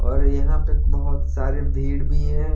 और यहां पे बहोत सारे भीड़ भी है।